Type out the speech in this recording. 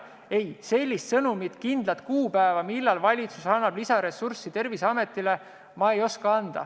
Ei, sellist sõnumit, kindlat kuupäeva, millal valitsus annab Terviseametile lisaressurssi, ei oska ma öelda.